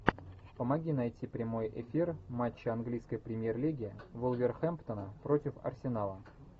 помоги найти прямой эфир матча английской премьер лиги вулверхэмптона против арсенала